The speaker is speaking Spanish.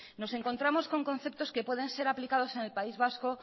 nos encontramos con conceptos que pueden ser aplicados en el país vasco